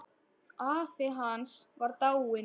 Afi hans var dáinn.